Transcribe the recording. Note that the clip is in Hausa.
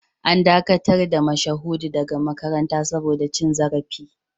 An dakatar da Mashahudu daga makaranta saboda cin zarafi